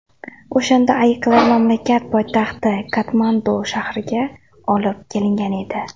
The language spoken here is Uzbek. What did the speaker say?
O‘shanda ayiqlar mamlakat poytaxti Katmandu shahriga olib kelingan edi.